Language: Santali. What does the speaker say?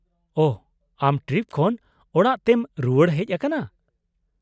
-ᱳᱦᱚ, ᱟᱢ ᱴᱨᱤᱯ ᱠᱷᱚᱱ ᱚᱲᱟᱜ ᱛᱮᱢ ᱨᱩᱣᱟᱹᱲ ᱦᱮᱪ ᱟᱠᱟᱱᱟ ?